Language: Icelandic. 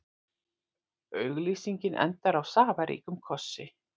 Auglýsingin endar á safaríkum kossi.